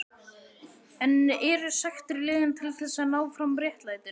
En eru sektir leiðin til þess að ná fram réttlætinu?